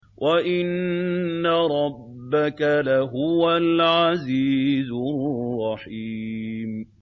وَإِنَّ رَبَّكَ لَهُوَ الْعَزِيزُ الرَّحِيمُ